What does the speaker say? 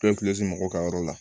mɔgɔw ka yɔrɔ la